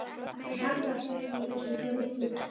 Hann haggast ekki í þessu sá litli.